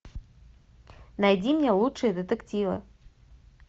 найди мне лучшие детективы